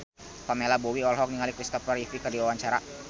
Pamela Bowie olohok ningali Kristopher Reeve keur diwawancara